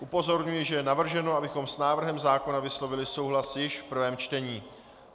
Upozorňuji, že je navrženo, abychom s návrhem zákona vyslovili souhlas již v prvém čtení.